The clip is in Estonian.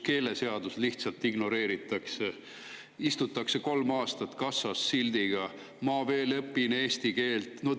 Keeleseadust lihtsalt ignoreeritakse, istutakse kolm aastat kassas sildiga "Ma veel õpin eesti keelt".